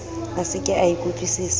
a se ke a ikutlwusisa